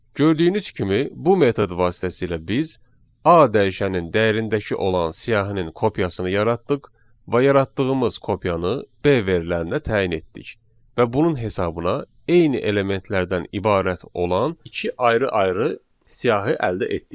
Gördüyünüz kimi, bu metod vasitəsilə biz A dəyişənin dəyərindəki olan siyahının kopyasını yaratdıq və yaratdığımız kopyanı B verilərinə təyin etdik və bunun hesabına eyni elementlərdən ibarət olan iki ayrı-ayrı siyahı əldə etdik.